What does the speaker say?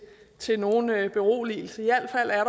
til nogen beroligelse i al fald er